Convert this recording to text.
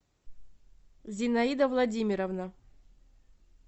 зинаида владимировна